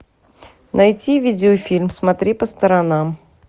найти видеофильм смотри по сторонам